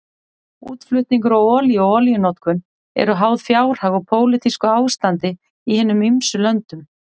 Útflutningur á olíu og olíunotkun eru háð fjárhag og pólitísku ástandi í hinum ýmsu löndum.